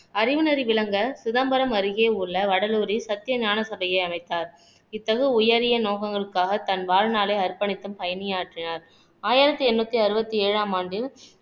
அறிவுநெறி விளங்க சிதம்பரம் அருகே உள்ள வடலூரில் சத்திய ஞான சபையை அமைத்தார் இத்தகைய உயரிய நோக்கங்களுக்காக தன் வாழ்நாளை அர்ப்பணித்தும் பணியாற்றினார் ஆயிரத்தி எண்ணூத்தி அறுபத்தி ஏழாம் ஆண்டில்